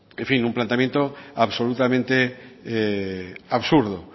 en fin un planteamiento absolutamente absurdo